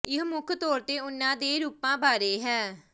ਇਹ ਮੁੱਖ ਤੌਰ ਤੇ ਉਹਨਾਂ ਦੇ ਰੂਪਾਂ ਬਾਰੇ ਹੈ